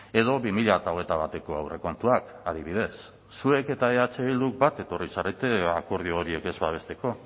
edo bi mila hogeita bateko aurrekontuak adibidez zuek eta eh bildu bat etorri zarete akordio horiek ez babesteko